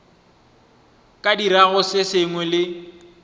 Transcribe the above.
ka dirago se sengwe le